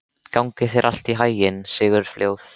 Gangi þér allt í haginn, Sigurfljóð.